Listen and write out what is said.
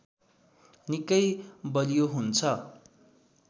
निकै बलियो हुन्छ